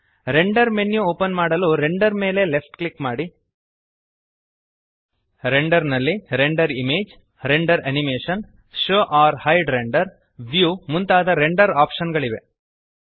render menu open ಮಾಡಲು render ಮೇಲೆ left click ಮಾಡಿ ರೆಂಡರ್ ನಲ್ಲಿ render image render animation show or hide render view ಮುಂತಾದ render option ಗಳಿವೆ